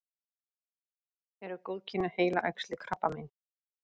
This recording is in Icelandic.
eru góðkynja heilaæxli krabbamein